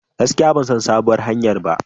Gaskiya ban san sabuwar hanyar ba.